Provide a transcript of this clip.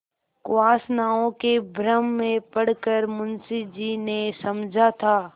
कुवासनाओं के भ्रम में पड़ कर मुंशी जी ने समझा था